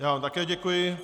Já vám také děkuji.